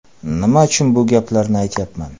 Nima uchun bu gaplarni aytyapman.